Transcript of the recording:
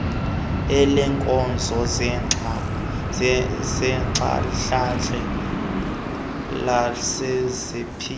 eleenkonzo zentlalontle nelezempilo